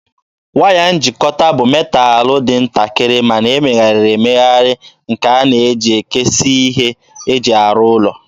Waya njikọta bụ metalụ dị ntakịrị ma na-emegharị emegharị nke a na-eji ekesiike ihe eji arụ ụlọ.